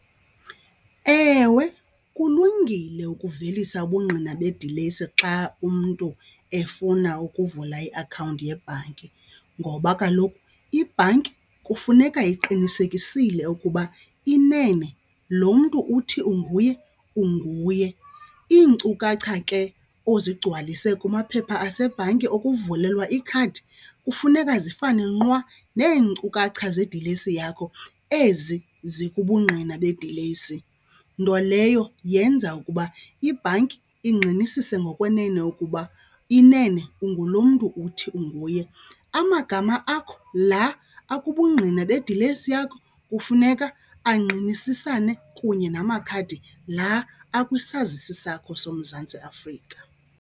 Ewe, kulungile ukuvelisa ubungqina bedilesi xa umntu efuna ukuvula iakhawunti yebhanki ngoba kaloku ibhanki kufuneka iqinisekisile ukuba inene lo mntu uthi unguye unguye. Iinkcukacha ke ozigcwalise kumaphepha asebhanki okuvulelwa ikhadi kufuneka zifane nqwa neenkcukacha zeedilesi yakho ezi zikubungqina bedilesi, nto leyo yenza ukuba ibhanki ingqinisise ngokunene ukuba inene ungulo mntu uthi unguye. Amagama akho la akubungqina bedilesi yakho kufuneka angqinisisane kunye namakhadi la akwisazisi sakho soMzantsi Afrika.